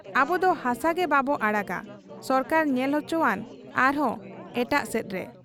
ᱟᱵᱚᱫᱚ ᱦᱟᱥᱟᱜᱮ ᱵᱟᱵᱚ ᱟᱲᱟᱜᱟ ᱾ ᱥᱚᱨᱠᱟᱨᱮ ᱧᱮᱞ ᱚᱪᱚᱣᱟᱱ ᱟᱨᱦᱚᱸ ᱮᱴᱟᱜ ᱥᱮᱫᱨᱮ ᱾